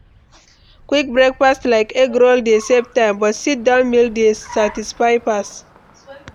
Quick breakfast like egg roll dey save time, but sit-down meal dey satisfy pass.